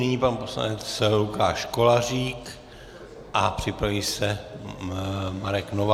Nyní pan poslanec Lukáš Kolářík a připraví se Marek Novák.